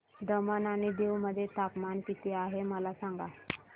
दमण आणि दीव मध्ये तापमान किती आहे मला सांगा